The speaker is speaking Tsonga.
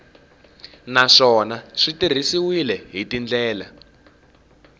naswona swi tirhisiwile hi tindlela